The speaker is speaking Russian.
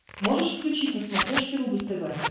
можешь включить на смотрешке рубль тв